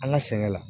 An ka sɛnɛ la